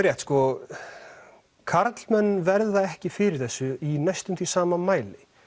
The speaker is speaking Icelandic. rétt að karlmenn verða ekki fyrir þessu í næstum því sama mæli